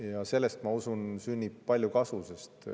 Ja sellest, ma usun, sünnib palju kasu.